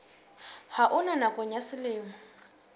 ha ona nakong ya selemo